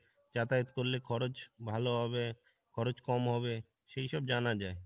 যাতায়াত করলে খরচ ভালো হবে, খরচ কম হবে, সেইসব জানা যাই।